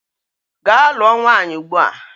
Gaa lụọ nwaanyị ugbua!